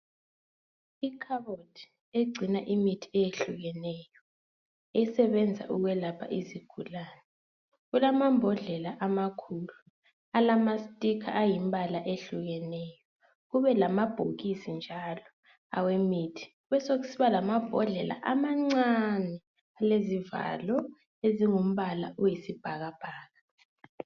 Ikhabothi egcina imithi eyehlukeneyo esebenza ukwelapha izigulane, kulamambhodlela amakhulu alama sticker ayimibala eyehlukeneyo kube lamabhokisi njalo awemithi, besokusiba lamambhodlela amancane alalezivalo ezingumbala oyisibhakabhaka